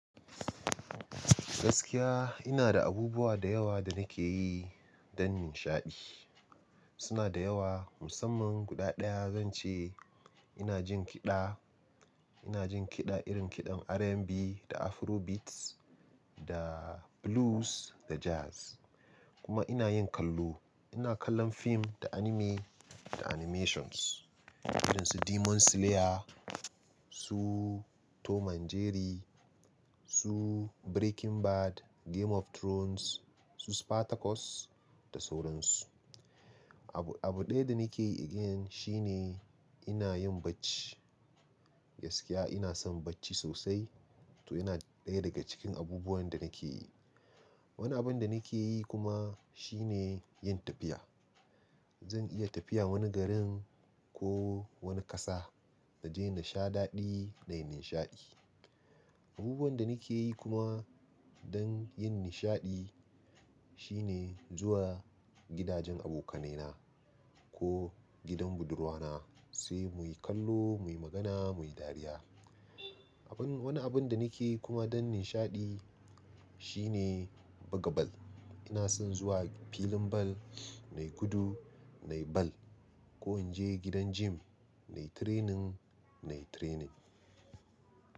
Gaskiya ina da abubuwa da yawa da nake yi don nishaɗi. Suna da yawa musamman guda ɗaya zan ce ina jin kiɗa. Ina jin kiɗa irin kiɗan R&B da Afrobeat da Blues da Jazz. Kuma ina yin kallo. Ina kallon fim da anime da animations irin su Demon Slayer, su Tom and Jerry, su Breaking Bad, Game of Thrones, su Spartacus da sauran su. Abu, abu ɗaya da nake yi shi ne ina yin bacci. Gaskiya ina son bacci sosai to yana ɗaya daga cikin abubuwan da nake yi. Wani abin da nake yi kuma shi ne yin tafiya. Zan iya tafiya wani garin ko wani ƙasa na je ina sha daɗi da nishaɗi. Abubuwan da nake yi kuma don yin nishaɗi shi ne zuwa gidajen abokanaina ko gidan budurwana sai muyi kallo, muyi magana, muyi dariya. Abun, wani abin da nake yi kuma don nishaɗi shi ne buga bal. Ina son zuwa filin bal nayi kudu, nayi bal ko in je gidan gym nayi training nayi training.